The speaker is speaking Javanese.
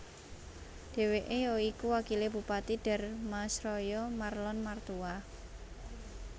Dheweke ya iku wakile Bupati Dharmasraya Marlon Martua